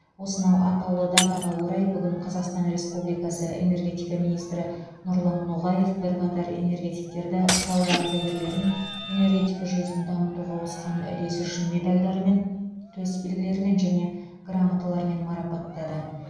осынау атаулы датаға орай бүгін қазақстан республикасы энергетика министрі нұрлан ноғаев бірқатар энергетиктерді сала ардагерлерін энергетика жүйесін дамытуға қосқан үлесі үшін медальдармен төсбелгілермен және грамоталармен марапаттады